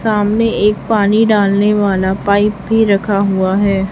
सामने एक पानी डालने वाला पाइप भी रखा हुआ है।